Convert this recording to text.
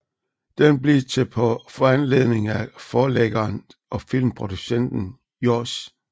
Den blev til på foranledning af forlæggeren og filmproducenten Johs